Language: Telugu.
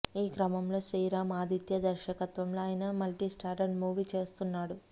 ఈ క్రమంలో శ్రీరామ్ ఆదిత్య దర్శకత్వంలో ఆయన మల్టీ స్టారర్ మూవీ చేస్తున్నాడు